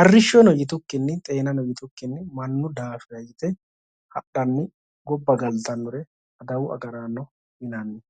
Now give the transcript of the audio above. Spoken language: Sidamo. arrishshono xeenano yitukki mannu daafira yite hadhanni gobba galtannore adawu agaraano yinanni.